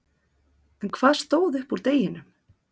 En hvað stóð upp úr deginum?